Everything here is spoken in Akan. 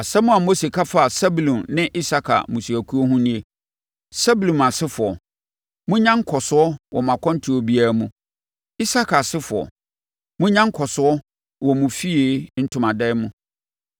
Asɛm a Mose ka faa Sebulon ne Isakar mmusuakuo ho nie: “Sebulon asefoɔ, monnya nkɔsoɔ wɔ mo akwantuo biara mu. Isakar asefoɔ, monnya nkɔsoɔ wɔ mo fie ntomadan mu.